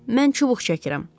Mən çubuq çəkirəm.